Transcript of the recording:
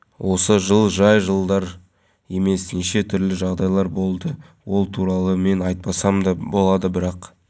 еуразиялық экономикалық одағының техникалық регламенті шеңберінде орнатылады маңызды құжат негізінде алаңдардағы спорттық құралдар әткеншектер тіпті